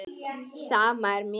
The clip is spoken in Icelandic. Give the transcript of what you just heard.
Sama er mér.